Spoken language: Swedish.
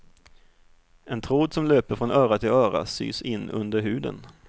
En tråd som löper från öra till öra sys in under huden.